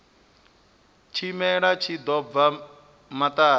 tshimela tshi ḓo bva maṱari